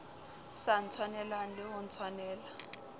sa ntshwaneleng le ho ntshwanela